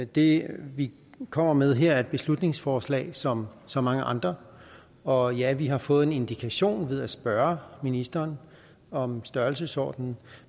det vi kommer med her er et beslutningsforslag som så mange andre og ja vi har fået en indikation ved at spørge ministeren om størrelsesordenen